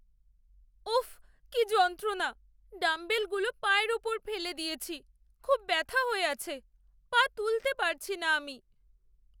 ওফ! কি যন্ত্রণা। ডাম্বেলগুলো পায়ের ওপর ফেলে দিয়েছি, খুব ব্যাথা হয়ে আছে। পা তুলতে পারছি না আমি।